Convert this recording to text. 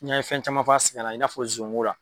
N'i y'an ye fɛn caman f'a sɛkɛnna i n'a fɔ zonko la.